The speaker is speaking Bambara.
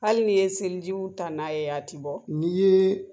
Hali n'i ye selijiw ta n'a ye a ti bɔ n'i ye